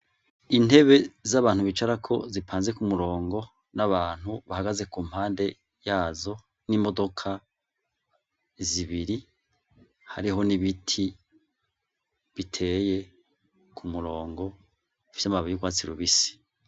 Intebe z'abantu bicarako zipanze ku murongo n'abantu bahagaze ku mpande yazo n'imodoka zibiri hariho n'ibiti biteye ku murongo vy'amababi y'urwatsi rubisi.